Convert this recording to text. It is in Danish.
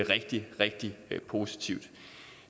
rigtig rigtig positivt